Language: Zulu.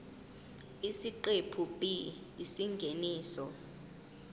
isiqephu b isingeniso